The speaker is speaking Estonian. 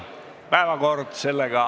Istungi lõpp kell 10.19.